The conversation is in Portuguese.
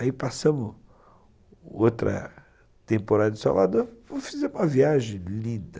Aí passamos outra temporada em Salvador e fizemos uma viagem linda.